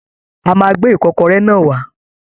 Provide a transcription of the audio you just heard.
A máa gbé Ìkọ́kọrẹ́ náà wá